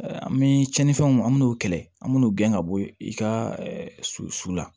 An bɛ cɛninfɛnw an mi n'o kɛlɛ an b'o gɛn ka bɔ i ka su su la